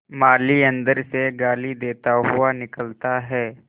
माली अंदर से गाली देता हुआ निकलता है